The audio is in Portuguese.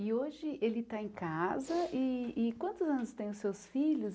E hoje ele está em casa, e e quantos anos têm os seus filhos?